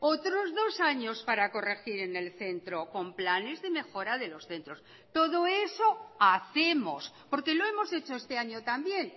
otros dos años para corregir en el centro con planes de mejora de los centros todo eso hacemos porque lo hemos hecho este año también